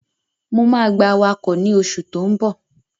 Mo máa gba awakọ̀ ní o ṣù tó n bọ̀.